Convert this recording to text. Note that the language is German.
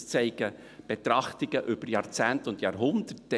das zeigen Betrachtungen über Jahrzehnte und Jahrhunderte.